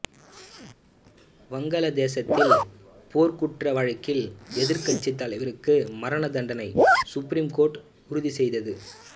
வங்காள தேசத்தில் போர்க்குற்ற வழக்கில் எதிர்க்கட்சி தலைவருக்கு மரண தண்டனை சுப்ரீம் கோர்ட்டு உறுதிசெய்தது